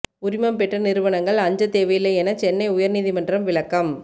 உரிமம் பெற்ற நிறுவனங்கள் அஞ்ச தேவையில்லை என சென்னை உயர் நீதிமன்றம் விளக்கம்